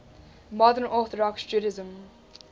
modern orthodox judaism